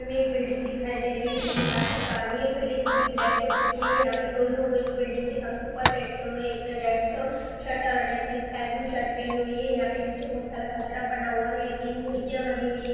एक बिल्डिंग दिखाई दे रही हैं बिल्डिंग काफी पुरानी बिल्डिंग पूरी काली हो चुकी हैं यहाँ पर दो लोग हैं जो बिल्डिंग के सबसे ऊपर बैठे हुए एक ने रेड शर्ट और एक ने स्काई ब्लू शर्ट पहना हुआ हैं यहाँ पर नीचे बहोत सारा कचड़ा पड़ा हुआ हैं। यहाँ तीन खिड़कियाँ बनी हुई है ।